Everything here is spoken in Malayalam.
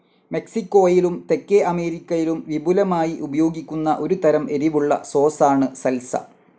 മെക്സിക്കോയിലും, തെക്കേ അമേരിക്കയിലും വിപുലമായി ഉപയോഗിക്കുന്ന ഒരു തരം എരിവുള്ള സോസാണ് സൽസ.